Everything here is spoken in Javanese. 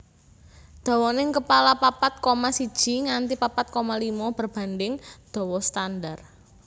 Dawaning kepala papat koma siji nganti papat koma limo berbanding dawa standar